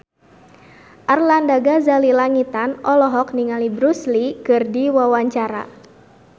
Arlanda Ghazali Langitan olohok ningali Bruce Lee keur diwawancara